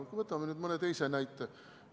Võtame mõne teise näite.